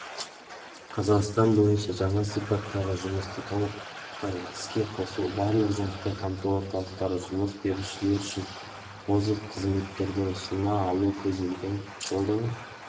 қазақстан бойынша жаңа сипаттағы жұмысты толықтай іске қосу барлық жұмыспен қамту орталықтары жұмыс берушілер үшін озық қызметтерді ұсына алу көзделген жылдың